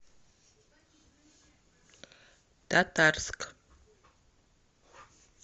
татарск